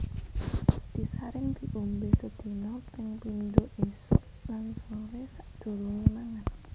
Disaring diombé sedina ping pindho ésuk lan soré sadurungé mangan